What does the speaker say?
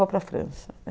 Vou para a França.